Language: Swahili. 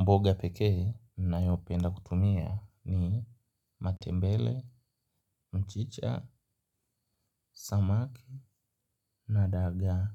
Mboga pekee ninayo penda kutumia ni matembele, mchicha, samaki na dagaa.